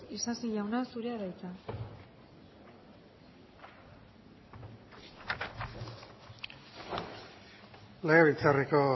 isasi jauna zurea da hitza legebiltzarreko